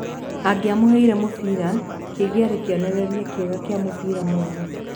Agĩamuheire mũbira kĩngĩarĩ kĩonereria kĩega kia mũbira mwega.